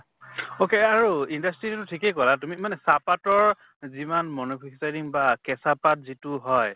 okay আৰু industry ঠিকে কলা তুমি মানে চাহ পাতৰ যিমান manufacturing বা কেঁচা পাত যিটো হয়